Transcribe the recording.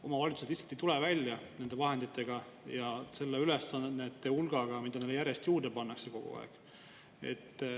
Omavalitsused lihtsalt ei nende vahenditega ja selle ülesannete hulgaga, mida neile kogu aeg järjest juurde pannakse.